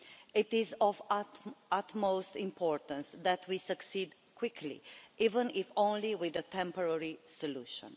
It is of the utmost importance that we succeed quickly, even if only with a temporary solution.